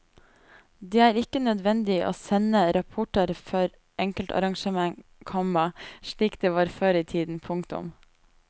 Det er ikke nødvendig å sende rapporter for enkeltarrangement, komma slik det var før i tiden. punktum